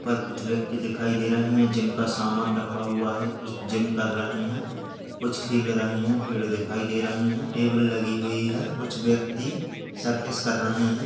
यहाँ पर कुछ व्यक्ति दिखाई दे रहे हैं। जिम का सामान रखा हुआ है कुछ जिम कर रहे हैं कुछ खेल रहे हैं। पेड़ दिखाई दे रहे हैं टेबल लगी हुई है कुछ व्यक्ति सर्कस कर रहे हैं।